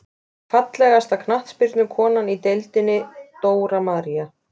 Fallegasta knattspyrnukonan í deildinni: Dóra María.